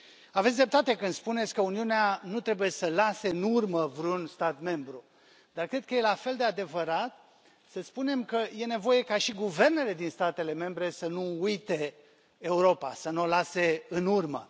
Aveți dreptate când spuneți că Uniunea nu trebuie să lase în urmă vreun stat membru, dar cred că e la fel de adevărat să spunem că e nevoie ca și guvernele din statele membre să nu uite Europa, să nu o lase în urmă.